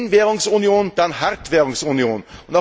Wenn Währungsunion, dann Hartwährungsunion!